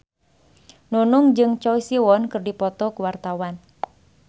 Nunung jeung Choi Siwon keur dipoto ku wartawan